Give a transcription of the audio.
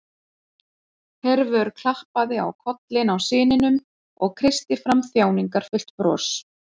Hervör klappaði á kollinn á syninum og kreisti fram þjáningarfullt bros.